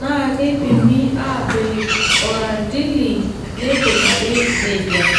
naa neipimi aapik orrandili neikunari neija.